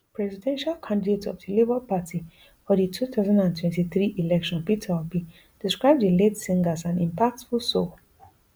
presidential candidate of di labour party for di two thousand and twenty-three election peter obi describe di late singer as an impactful soul